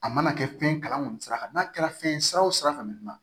A mana kɛ fɛn kalan kɔni sira kan n'a kɛra fɛn ye sira o sira fɛ